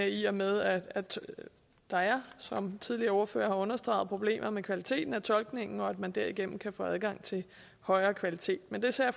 i og med at der er som tidligere ordførere har understreget problemer med kvaliteten af tolkningen og at man derigennem kan få adgang til højere kvalitet men det ser